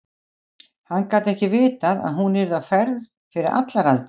Hann gat ekki vitað að hún yrði á ferð fyrir allar aldir.